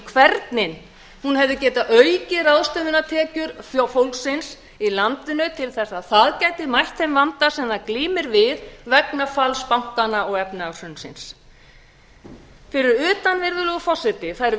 hvernig hún hefði getað aukið ráðstöfunartekjur fólksins í landinu til þess að það gæti mætt þeim vanda sem það glímir við vegna falls bankanna og efnahagshrunsins fyrir utan virðulegur forseti þær